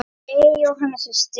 Jæja, Jóhanna systir.